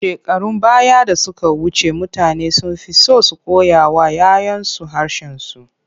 Shekarun baya da suka wuce, mutane sun fi so su koyawa 'ya 'yansu harshensu.